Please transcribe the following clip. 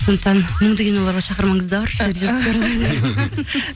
сондықтан мұңды киноларға шақырмаңыздаршы